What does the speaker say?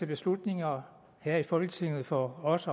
beslutninger her i folketinget for os